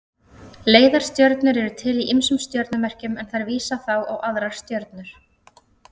Leiðarstjörnur eru til í ýmsum stjörnumerkjum en þær vísa þá á aðrar stjörnur.